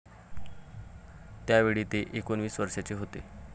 त्यावेळी ते एकोणीस वर्षांचे होते.